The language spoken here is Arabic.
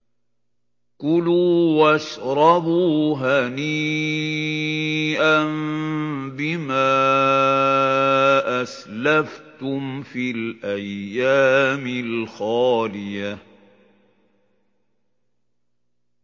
كُلُوا وَاشْرَبُوا هَنِيئًا بِمَا أَسْلَفْتُمْ فِي الْأَيَّامِ الْخَالِيَةِ